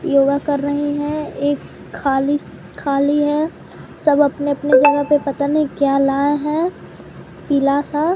योगा कर रहे हैं एक खाली खाली है सब अपने-अपने जगह पे पता नहीं क्या लाए हैं पीला सा--